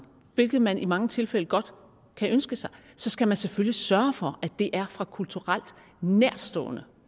hvilket man i mange tilfælde godt kan ønske sig så skal man selvfølgelig sørge for at det er fra kulturelt nærtstående